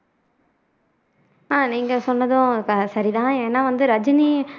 ஆஹ் நீங்க சொன்னதும் ச சரி தான் ஏன்னா வந்து ரஜினி